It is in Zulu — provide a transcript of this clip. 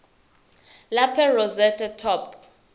lapel rosette top